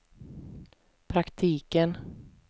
praktiken